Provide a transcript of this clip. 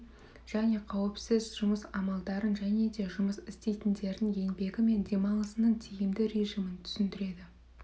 және қауіпсіз жұмыс амалдарын және де жұмыс істейтіндердің еңбегі мен демалысының тиімді режимін түсіндіреді